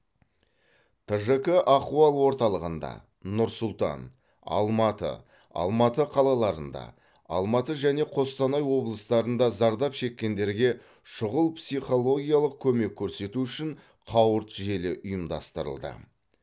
тжк ахуал орталығында нұр сұлтан алматы алматы қалаларында алматы және қостанай облыстарында зардап шеккендерге шұғыл психологиялық көмек көрсету үшін қауырт желі ұйымдастырылды